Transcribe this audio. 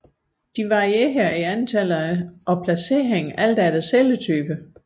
De varierer i antal og placering alt efter celletype